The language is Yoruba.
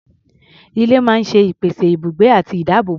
Ilé máa ń ṣe ìpèsè ibùgbé àti ìdáàbòbò.